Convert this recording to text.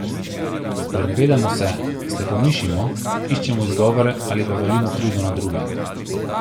Sprenevedamo se, slepomišimo, iščemo izgovore ali pa valimo krivdo na druge.